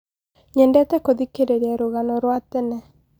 nyendete gũthikĩrĩria rũgano rwa tene